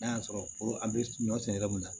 N'a y'a sɔrɔ an bɛ ɲɔ si yɔrɔ munna